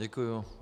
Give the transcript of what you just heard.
Děkuji.